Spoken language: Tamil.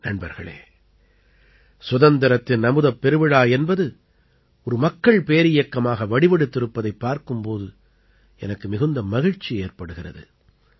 நண்பர்களே சுதந்திரத்தின் அமுதப் பெருவிழா என்பது ஒரு மக்கள் பேரியக்கமாக வடிவடுத்திருப்பதைப் பார்க்கும் போது எனக்கு மிகுந்த மகிழ்ச்சி ஏற்படுகிறது